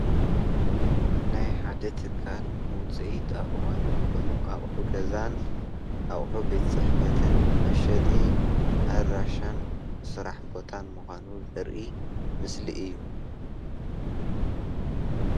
ናይ ሓደ ትካል ውፅኢት ኣእዋም ዝኾኑ ኣቕሑ ገዛን ኣቕሱ ቤት- ፅሕፈት መሸጢ ኣድራሻን ስራሕ ቦታን ምኳኑ ዘርኢ ምስሊ እዩ፡፡